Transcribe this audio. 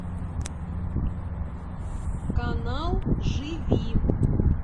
канал живи